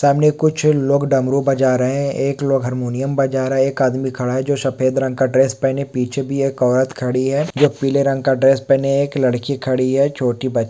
सामने कुछ लोग डमरु बजा रहे हैं एक लोग हारमोनियम बजा रहा है एक आदमी खड़ा है जो सफेद रंग का ड्रेस पहने पीछे भी एक औरत खड़ी है जो पीले रंग का ड्रेस पहने एक लड़की खड़ी है छोटी ब--